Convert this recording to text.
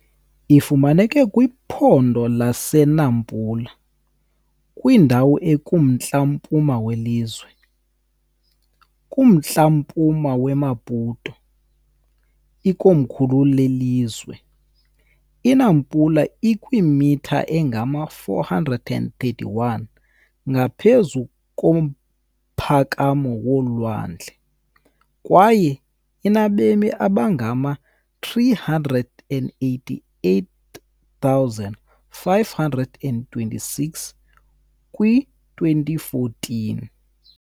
Ifumaneka kwiphondo laseNampula, kwindawo ekumntla-mpuma welizwe, km kumntla-mpuma weMaputo, ikomkhulu lelizwe. INampula ikwimitha engama-431 ngaphezu komphakamo wolwandle, kwaye inabemi abangama-388,526, kwi-2014.